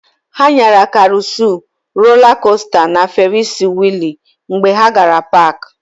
Ha nyara karusịl, rolaa kosta na ferisi wịịlụ mgbe ha gara paakị.